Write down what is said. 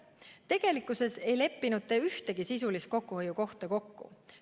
Tegelikkuses ei leppinud te ühtegi sisulist kokkuhoiukohta kokku.